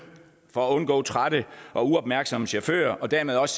for at undgå trætte og uopmærksomme chauffører og dermed også